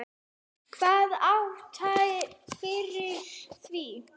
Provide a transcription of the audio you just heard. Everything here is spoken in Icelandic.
Hvaða ástæða er fyrir því?